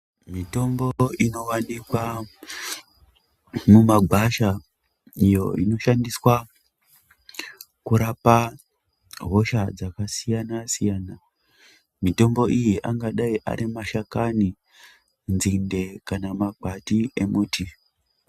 Mitombo inovanikwa mumagwasha iyo inoshandiswa kurapa hosha dzakasiyana-siyana. Mitombo iyi angadai ari mashakani, nzinde kana makwati emuti.